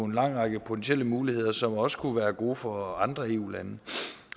lang række potentielle muligheder som også kunne være gode for andre eu lande